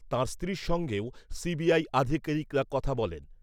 তাঁর স্ত্রীর সঙ্গেও সিবিআই আধিকারিকরা কথা বলেন ।